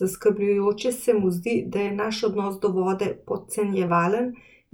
Zaskrbljujoče se mu zdi, da je naš odnos do vode podcenjevalen,